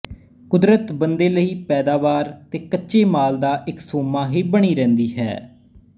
ਕੁਦਰਤ ਬੰਦੇ ਲਈ ਪੈਦਾਵਾਰ ਤੇ ਕੱਚੇ ਮਾਲ ਦਾ ਇੱਕ ਸੋਮਾ ਹੀ ਬਣੀ ਰਹਿੰਦੀ ਹੈ